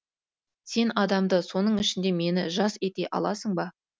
сен адамды соның ішінде мені жас ете аласың ба